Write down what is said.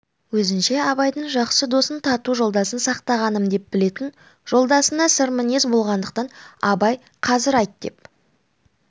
өзінше абайдың жақсы досын тату жолдасын сақтағаным деп білетін жолдасына сырмінез болғандықтан абай қазір айт деп